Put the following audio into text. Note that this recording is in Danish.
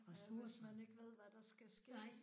Ja hvis man ikke ved hvad der skal ske